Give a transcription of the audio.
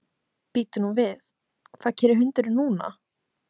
Bíddu nú við, hvað gerir hundurinn núna?